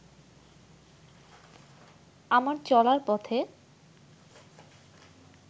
আমার চলার পথে